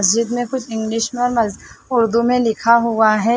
मस्जिस्द में कुछ इंग्लिश में उर्दू में लिखा हुआ है।